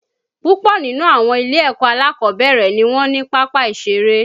Púpọ̀ nínú àwọn ilé-ẹ̀kọ́ alákọ̀ọ́bẹ̀rẹ̀ ni wọn ní pápá ìṣeré